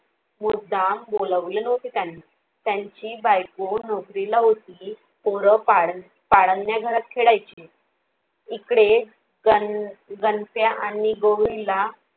मुद्दाम बोलावले नव्हते त्यांनी, त्यांची बायको नोकरीला होती. पोरं पाडण्या घरात खेळायची. इकडे गण गंप्या आणि गौरीला.